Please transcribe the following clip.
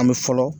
An bɛ fɔlɔ